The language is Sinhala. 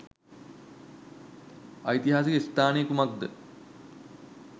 ඓතිහාසික ස්ථානය කුමක්ද?